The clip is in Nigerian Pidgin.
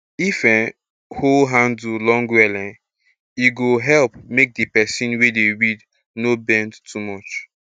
if um hoe handle long well um e go help make the person wey dey weed no bend too much